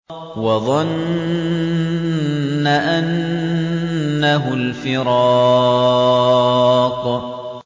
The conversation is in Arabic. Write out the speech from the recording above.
وَظَنَّ أَنَّهُ الْفِرَاقُ